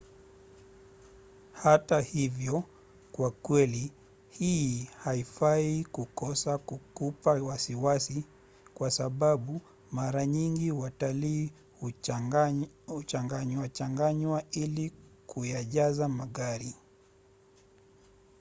hata hivyo kwa kweli hii haifai kukosa kukupa wasiwasi kwa sababu mara nyingi watalii huchanganywachanganywa ili kuyajaza magari